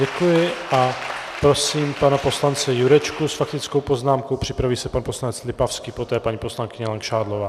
Děkuji a prosím pana poslance Jurečku s faktickou poznámkou, připraví se pan poslanec Lipavský, poté paní poslankyně Langšádlová.